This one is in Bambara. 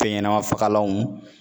Fɛnɲanɛmafagalanw